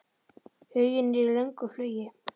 Huginn er í löngu flugi.